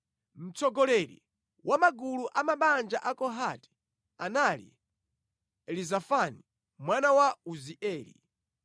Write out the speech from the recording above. Mtsogoleri wa magulu a mabanja a Kohati anali Elizafani mwana wa Uzieli.